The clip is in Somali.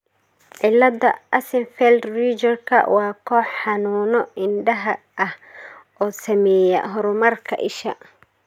cilada Axenfeld Riegerka waa koox xanuuno indhaha ah oo saameeya horumarka isha.